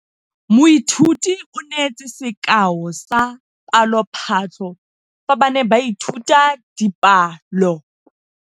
Moithuti o neetse sekaô sa palophatlo fa ba ne ba ithuta dipalo.